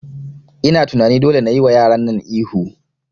Ina tunani dole nayi wa yaran nan ihu